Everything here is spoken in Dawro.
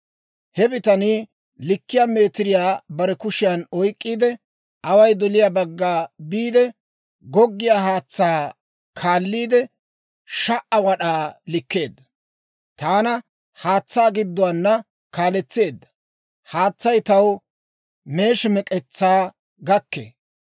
He bitanii likkiyaa meetiriyaa bare kushiyan oyk'k'iide, away doliyaa bagga biide, goggiyaa haatsaa kaalliide, 1,000 wad'aa likkeedda. Taana haatsaa gidduwaana kaaletseedda; haatsay taw meeshi mek'etsaa gakkee.